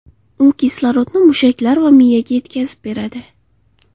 U kislorodni mushaklar va miyaga yetkazib beradi.